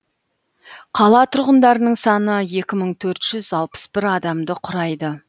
қала тұрғындарының саны екі мың төрт жүз алпыс бір адамды құрайды